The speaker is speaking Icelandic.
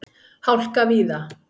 Hálka víða